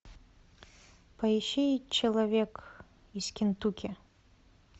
поищи человек из кентукки